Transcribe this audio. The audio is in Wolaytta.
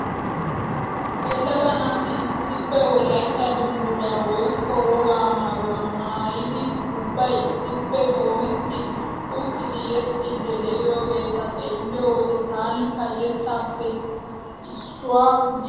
Yelaga naati issippe wolaytta dungguza woykko wogaa maayuwa maayadi ubbay issippe qoometti uttidi yexxiiddi de'iyageeta xeelliyo wode tanikka etappe issuwa gidiyakko giissees.